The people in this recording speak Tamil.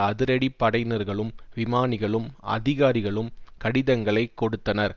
அதிரடி படையினர்களும் விமானிகளும் அதிகாரிகளும் கடிதங்களைக் கொடுத்தனர்